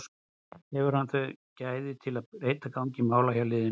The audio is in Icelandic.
Hefur hann þau gæði til að breyta gangi mála hjá liðinu?